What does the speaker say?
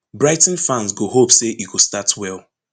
brighton fans go hope say e go start well